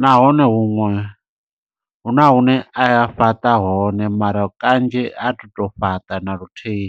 Nahone, huṅwe hu na hune aya fhaṱa hone mara kanzhi a thi to fhaṱa na luthihi.